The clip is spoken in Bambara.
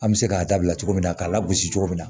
An bɛ se k'a dabila cogo min na k'a lagosi cogo min na